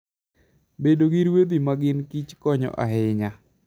Bedo gi ruedhi ma gin kich konyo ahinya.